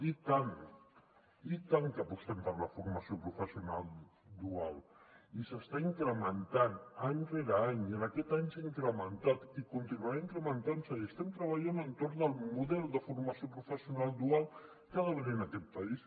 i tant i tant que apostem per la formació professional dual i s’està incrementant any rere any i en aquest any s’ha incrementat i continuarà incrementant se i estem treballant a l’entorn del model de formació professional dual que ha d’haver hi en aquest país